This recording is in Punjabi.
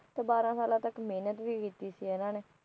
ਤੇ ਬਾਹਰਾ ਸਾਲਾ ਤੱਕ ਮਹਿਨਤ ਵੀ ਕੀਤੀ ਸੀ ਇਹਨਾਂ ਨੇ